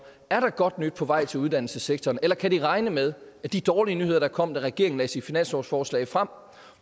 er der godt nyt på vej til uddannelsessektoren eller kan de regne med at de dårlige nyheder der kom da regeringen lagde sit finanslovsforslag frem